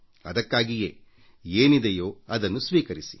ಅದಕ್ಕಾಗಿಯೇ ಏನಿದೆಯೋ ಅದನ್ನು ಸ್ವೀಕರಿಸಿ